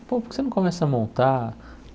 Pô, por que você não começa a montar?